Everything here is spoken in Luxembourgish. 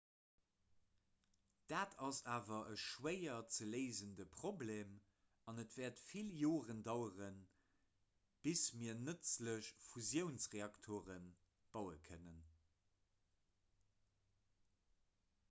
dat ass awer e schwéier ze léisende problem an et wäert vill joren daueren bis mir nëtzlech fusiounsreaktere baue kënnen